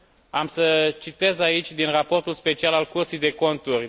Am să citez aici din Raportul special nr.